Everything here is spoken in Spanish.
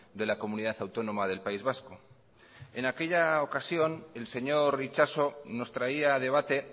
de la comunidad autónoma del país vasco en aquella ocasión el señor itxaso nos traía a debate